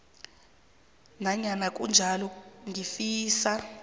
nanyana kunjalo ngifisa